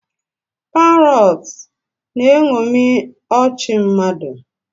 Parrots na-eṅomi ọchị mmadụ